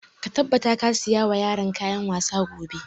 Ka tabbata ka saya wa yaran kayan wasa gobe!